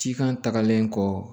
Cikan tagalen kɔ